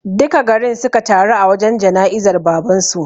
Duka garin suka taru a wajen jana'izar baban su